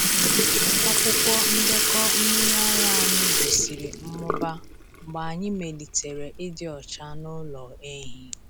Akwụkwọ ndekọ mmiri ara anyị gosiri mmụba mgbe anyị melitere ịdị ọcha n’ụlọ ehi.